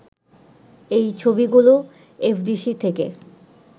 এই ছবিগুলো এফডিসি থেকে